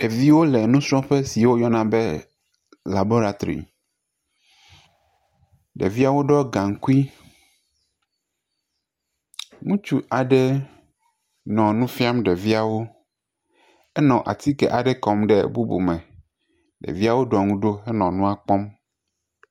Ɖeviwo le nusrɔ̃ƒe si woyɔna be laboratory. Ɖevia wo ɖɔ gaŋkui. Ŋutsu aɖe nɔ nu fiam ɖeviawo. Enɔ atike aɖe kɔm ɖe bubu me. Ɖeviawo ɖɔ nu ɖo henɔ nua kpɔm.